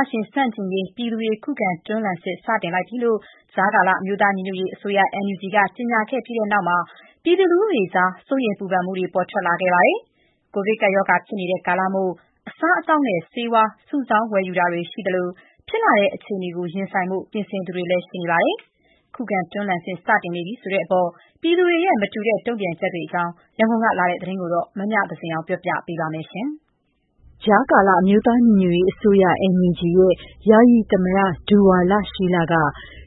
ာရှင်ဆန့်ကျင်ရေး ပြည်သူတွေ ခုခံတွန်းလှန်စစ် စတင်လိုက်ပြီလို့ ကြားကာလ အမျိုးသားညီညွတ်ရေးအစိုးရ NUG က ကြေညာခဲ့ပြီးနောက်မှာ ပြည်သူလူထုကြား စိုးရိမ်ပူပန်မှုတွေ ပေါ်ထွက်ခဲ့ပါတယ်။ ကိုဗစ်ကပ်ရောဂါဖြစ်နေတဲ့ ကာလမို့ အစားအသောက် ဆေးဝါး စတာတွေကို စုဆောင်း ဝယ်ယူသူတွေရှိသလို ဖြစ်လာတဲ့ အခြေအနေကို ရင်ဆိုင်ဖို့ ပြင်ဆင်သူတွေလည်းရှိနေပါတယ်။ ခုခံတွန်းလှန်စစ် စတင်နေပြီဆိုတဲ့အပေါ် ပြည်သူတွေရဲ့ မတူတဲ့ တုံ့ပြန်ချက်တွေအကြောင်း ရန်ကုန်ကလာတဲ့သတင်းကို မမြသဇင်အောင်ပြောပြပါမယ်။ ကြားကာလ အမျိုးသားညီညွတ်ရေးအစိုးရ NUG ရဲ့ ယာယီသမ္မတ ဒူဝါလရှီးလက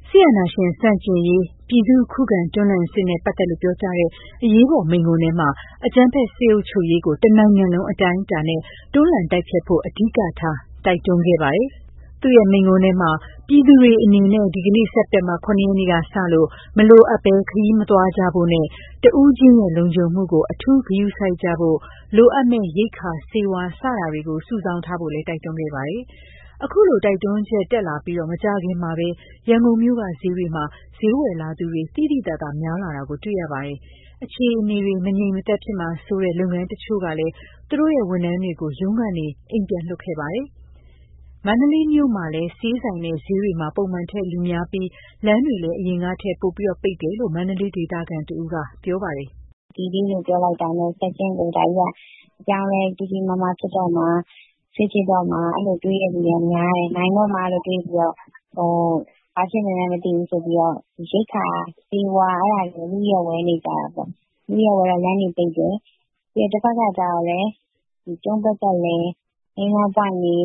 စစ်အာဏာရှင် ဆန့်ကျင်ရေး ပြည်သူ့ခုခံတွန်းလှန်စစ်နဲ့ ပတ်သက်လို့ ပြောကြားတဲ့ အရေးပေါ်မိန့်ခွန်းထဲမှာ အကြမ်းဖက်စစ်အုပ်ချုပ်ရေးကို တနိုင်ငံလုံးအတိုင်းအတာနဲ့ တွန်းလှန်တိုက်ဖျက်ဖို့ အဓိကထား တိုက်တွန်းခဲ့ပါတယ်။ သူ့ရဲ့ မိန့်ခွန်းထဲမှာ ပြည်သူတွေအနေနဲ့ ဒီနေ့ စက်တင်ဘာ ၇ ရက်နေ့ကစလို့ မလိုအပ်ဘဲ ခရီးမသွားကြဖို့နဲ့ တစ်ဦးချင်းရဲ လုံခြုံမှုကို အထူးဂရုစိုက်ကြဖို့၊ လိုအပ်မယ့် ရိက္ခာ၊ ဆေးဝါး စတာတွေကို စုဆောင်းထားဖို့လည်း တိုက်တွန်းခဲ့ပါတယ်။ ခုလိုတိုက်တွန်းချက်ထွက်လာပြီး မကြာခင်မှာပဲ ရန်ကုန်မြို့က ဈေးတွေမှာ ဈေးဝယ်လာသူတွေ သိသိသာသာများလာတာ တွေ့ရပါတယ်။ အခြေအနေတွေ မငြိမ်မသက်ဖြစ်မှာစိုးတဲ့ လုပ်ငန်းတချို့ကလည်း သူတို့ရဲ့ဝန်ထမ်းတွေကို ရုံးကနေ ပြန်လွှတ်ခဲ့ကြပါတယ်။ မန္တလေးမြို့မှာလည်း ဆေးဆိုင်နဲ့ ဈေးတွေမှာ ပုံမှန်ထက်လူများပြီး၊ လမ်းတွေလည်း အရင်ကထက် ပိုပိတ်တယ်လို့ မန္တလေးဒေသခံတဦးက ပြောပါတယ်။ "D Day လို့ပြောလိုက်တာနဲ့ ချက်ချင်းကို ဒါကြီးက အပြောင်းအလဲကြီးကြီးမားမား ဖြစ်တော့မှာ၊ စစ်ဖြစ်တော့မှာ အဲလိုတွေးတဲ့လူက များတယ်။ နိုင်တော့မှာလို့ တွေးပြီးတော့၊ ဘာဖြစ်နေလဲ မသိဘူးဆိုပြီးတော့ ရိက္ခာ၊ ဆေးဝါး အဲဒါတွေလည်း အလုအယက်ဝယ်နေကြတာပေါ့။ အလုအယက်ဝယ်တော့ လမ်းတွေပိတ်တယ်။ ပြီးတော့ တဖက်ကကျတော့လည်း ကျုံးပတ်လည်၊ မိန်းလမ်းပွိုင့်တွေ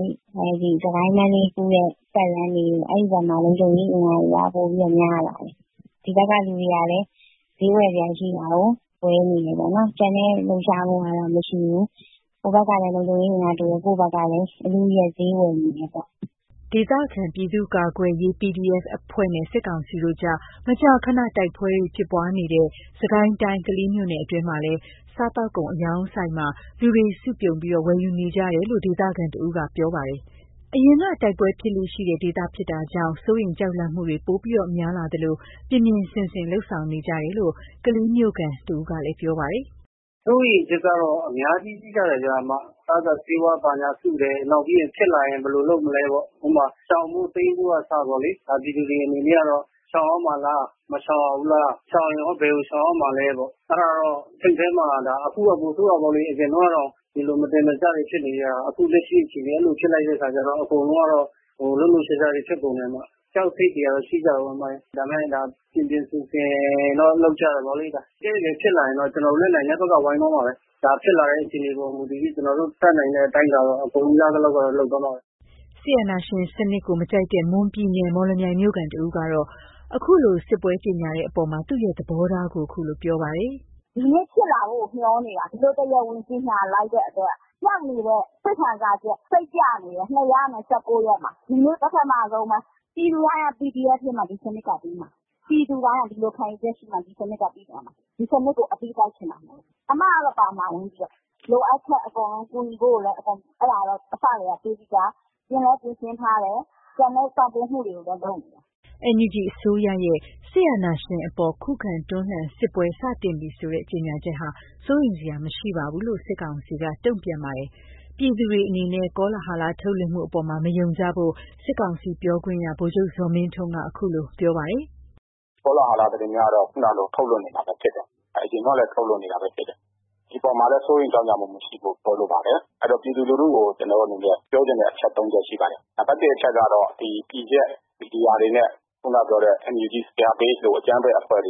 ၊ စစ်ကိုင်း - မန္တလေးကူးတဲ့ ပတ်လမ်းတွေ အဲဒီဘက်မှာ လုံခြုံရေးအင်အားတွေက ပိုပြီးတော့များလာတယ်။ ဒီဘက်က လူတွေကလည်း ဈေးဝယ်စရာရှိတာကို ဝယ်နေတယ်ပေါ့နော်။ ကျန်တဲ့လှုပ်ရှားမှုကတော့ မရှိဘူး။ ဟိုဘက်ကလည်း လုံခြုံရေးအင်အားတိုးတယ်။ ကိုယ့်ဘက်ကလည်း အလုအယက်ဈေးဝယ်နေတယ်ပေါ့။" ဒေသခံ ပြည်သူ့ကာကွယ်ရေး PDF အဖွဲ့နဲ့ စစ်ကောင်စီတို့အကြား မကြာခဏတိုက်ပွဲဖြစ်ပွားနေတဲ့ စစ်ကိုင်းတိုင်း၊ ကလေးမြို့နယ်အတွင်းမှာလည်း စားသောက်ကုန်အရောင်းဆိုင်မှာ လူတွေစုပြုံ ဝယ်ယူနေကြတယ်လို့ ဒေသခံတဦးက ပြောပါတယ်။ အရင်ထဲက တိုက်ပွဲဖြစ်လေ့ရှိတဲ့ ဒေသဖြစ်တာကြောင့် စိုးရိမ်ကြောက်လန့်မှုတွေ ပိုဖြစ်လာသလို ပြင်ပြင်ဆင်ဆင်လုပ်ဆောင်နေကြတာလို့ ကလေးမြို့ခံတစ်ဦးက ပြောပါတယ်။ "စိုးရိမ်ချက်ကတော့ အများကြီးရှိကြတယ်ဗျ။ အစာအစာ၊ ဆေးဝါး ဘာညာစုတယ်။ နောက်ပြီး ဖြစ်လာရင် ဘယ်လိုလုပ်မလဲပေါ့။ ဥပမာ ရှောင်ဖို့တိမ်းဖို့က အစပေါ့လေ။ ဒါပြည်သူတွေအနေနဲ့ကတော့ ရှောင်ရမှာလား၊ မရှောင်ရဘူးလား၊ ရှောင်ရင်ရော ဘယ်ကိုရှောင်ရမှာလဲပေါ့။ အဲ့ဒါ စိတ်ထဲမှာ အခုက ပိုဆိုးတာပေါ့လေ။ အရင်တုန်းကတော့ ဒီလိုမတင်မကျတွေဖြစ်နေတာ။ အခုလက်ရှိအခြေအနေက အဲ့လိုဖြစ်လိုက်တဲ့ အခါကျတော့ အကုန်လုံးကတော့ လှုပ်လှုပ်ရှားရှားတွေဖြစ်ကုန်တယ်။ ကြောက်စိတ်တွေက ရှိကြတာပေါ့။ ဒါပေမယ့် ပြင်ပြင်ဆင်ဆင်တော့ လုပ်ကြတယ်ပေ့ါလေ။ တကယ့် တကယ်ဖြစ်လာရင်တော့ ကျနော်တို့လည်း နိုင်တဲ့ဘက်က ဝိုင်းသွားမှာပဲ။ ဒါဖြစ်လာတဲ့ အခြေအနေပေါ်မူတည်ပြီး ကျနော်တို့ တတ်နိုင်တဲ့ အတိုင်းအတာတော့ အကုန်ရသလောက်တော့ လုပ်သွားမှာပဲ။" စစ်အာဏာရှင်စနစ်ကို မကြိုက်တဲ့ မွန်ပြည်နယ်၊ မော်လမြိုင်မြို့ခံတဦးကတော့ ခုလို စစ်ပွဲကြေညာတဲ့အပေါ် သူ့ရဲ့ သဘောထားကို ခုလိုပြောပါတယ်။ "ဒီနေ့ဖြစ်လာဖို့ကို မျှော်နေတာ။ ဒီလိုတရားဝင်ကြေညာလိုက်တဲ့အတွက် ပျောက်နေတဲ့စိတ်ခံစားချက်၊ စိတ်ပျက်နေတဲ့ ၂၁၉ ရက်မှာ ဒီနေ့ပထမဆုံးပဲ။ ပြည်သူတိုင်းက PDF ဖြစ်မှ ဒီစနစ်ကပြီးမှာ။ ပြည်သူတိုင်းက ဒီလိုခံယူချက်ရှိမှ ဒီစနစ်ကပြီးသွားမှာ။ ဒီစနစ်ကိုအပြီးတိုက်ချင်တာမို့လို့ အစ်မကတော့ ပါဝင်မှာ။ လိုအပ်ချက်အကုန်လုံး ကူညီဖို့ကိုလည်း အစကတည်းကတွေးပြီးသား၊ ပြင်လည်းပြင်ဆင်ထားတယ်။ ကျန်တဲ့ ပံ့ပိုးမှုတွေလည်းလုပ်နေတာ။" NUG အစိုးရရဲ့ စစ်အာဏာရှင်အပေါ် ခုခံတွန်းလှန်စစ်ပွဲ စတင်ပြီဆိုတဲ့ ကြေညာချက်ဟာ စိုးရိမ်စရာ မရှိပါဘူးလို့ စစ်ကောင်စီက တုံ့ပြန်ပါတယ်။ ပြည်သူတွေအနေနဲ့ ကောလဟာလထုတ်လွှင့်မှုအပေါ် မယုံကြဖို့ စစ်ကောင်စီပြောခွင့်ရ ဗိုလ်ချုပ်ဇော်မင်းထွန်းက ခုလိုပြောပါတယ်။ "ကောလဟာလသတင်းများတော့ ခုနလို ထုတ်လွှင့်နေမှာပဲဖြစ်တယ်။ အရင်တုန်းကလည်း ထုတ်လွှင့်နေတာပဲဖြစ်တယ်။ ဒီအပေါ်မှာလည်း စိုးရိမ်ကြောင့်ကြမှုမရှိဖို့ ပြောလိုပါတယ်။ အဲ့တော့ ပြည်သူလူထုကို ကျနော်တို့အနေနဲ့ ပြောချင်တဲ့ အချက်သုံးချက်ရှိပါတယ်။ နံပါတ်တစ်အချက်ကတော့ ဒီ PDF မီဒီယာတွေနဲ့ ခုနပြောတဲ့ NUG ၊ CRPH တို့ အကြမ်းဖက်အဖွဲ့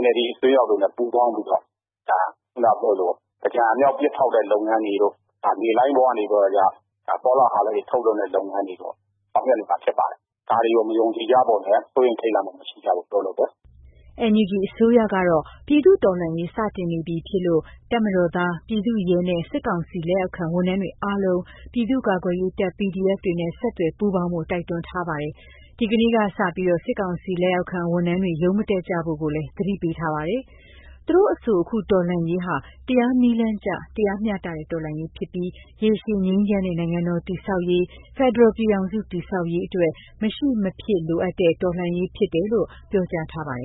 NLD အစွန်းရောက်တွေနဲ့ ပူးပေါင်းပြီးတော့ ဒါခုနပြောသလိုပေါ့။ သင်္ကြန်အမြှောက်ပစ်ဖောက်တဲ့ လုပ်ငန်းတွေတို့၊ ဒါလေလှိုင်းပေါ်ကနေပြီးတော့ ဒါ ကောလဟာလတွေ ထုတ်လွှင့်တဲ့လုပ်ငန်းတွေပေါ့ လုပ်ဆောင်နေမှာဖြစ်ပါတယ်။ ဒါတွေကို မယုံကြည်ကြဖို့နဲ့ စိုးရိမ်ထိတ်လန့်မရှိကြဖို့ ပြောလိုတယ်။" NUG အစိုးရကတော့ ပြည်သူ့တော်လှန်ရေး စတင်နေပြီဖြစ်လို့ တပ်မတော်သား၊ ပြည်သူ့ရဲနဲ့ စစ်ကောင်စီလက်အောက်ခံ ဝန်ထမ်းတွေအားလုံး ပြည်သူ့ကာကွယ်ရေးတပ် PDF တွေနဲ့ ဆက်သွယ်ပူးပေါင်းဖို့ တိုက်တွန်းပါတယ်။ ဒီကနေ့ကစပြီး စစ်ကောင်စီလက်အောက်ခံ ဝန်ထမ်းတွေ ရုံးမတက်ကြဖို့ကိုလည်း သတိပေးထားပါတယ်။ သူတို့အဆို အခုတော်လှန်ရေးဟာ တရားနည်းလမ်းကျ တရားမျှတတဲ့ တော်လှန်ရေးဖြစ်ပြီး ရေရှည်ငြိမ်းချမ်းတဲ့ နိုင်ငံတော်တည်ဆောက်ရေး၊ ဖက်ဒရယ်ပြည်ထောင်စုတည်ဆောက်ရေး အတွက် မရှိမဖြစ်လိုအပ်သည့် တော်လှန်ရေး ဖြစ်တယ်လို့ ပြောကြားထားပါတယ်